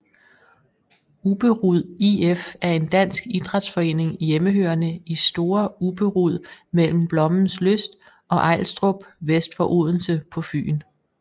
Ubberud IF er en dansk idrætsforening hjemmehørende i Store Ubberud mellem Blommenslyst og Ejlstrup vest for Odense på Fyn